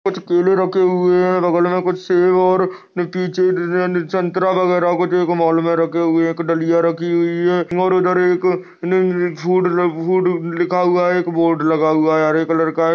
कुछ केले रखे हुए हैं। बगल में कुछ सेव और न पीछे संतरा वगैरह कुछ एक मॉल में रखे हुए हैं। एक डलिया रखी हुई है और उधर एक फूड ल फूड लिखा हुआ है। एक बोर्ड लगा हुआ है हरे कलर का है।